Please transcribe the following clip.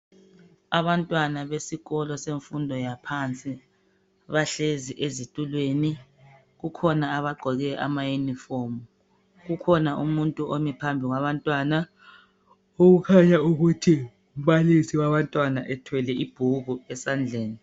Abantwana besikolo semfundo yaphansi bahlezi ezitulweni kukhona abagqoke ama uniform kukhona umuntu omi phambi kwabantwana okukhanya ukuthi ngumbalisi wabantwana ethwele ibhuku esandleni.